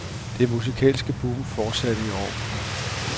Det musikalske boom fortsatte i år.